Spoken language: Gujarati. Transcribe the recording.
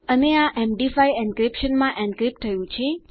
અને આ એમડી5 એન્ક્રિપ્શનમાં એન્ક્રિપ્ટ થયું છે